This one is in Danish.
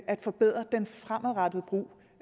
at forbedre den fremadrettede brug